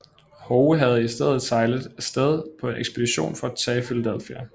Howe havde i stedet sejlet af sted på en ekspedition for at tage Philadelphia